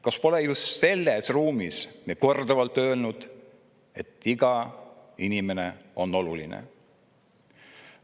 Kas pole me just selles ruumis ja korduvalt öelnud, et iga inimene on oluline?